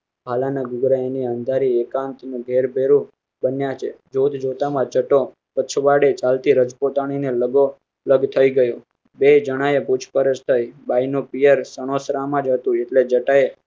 હા લઘુગ્રહ ની અંધારી એકાંતના ઘેર ભેરુ બન્યા છે જોત જોતા માં જતો પછવાડે ચાલતી રજપૂતાણી ને લાગો લેગ થયી ગયો બે જણા એ પૂછપરછ થાયી બાય નો પિયર સણોસરા માં હતું એટલે જટાએ